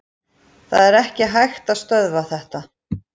Það er ekki hægt að stöðva þetta.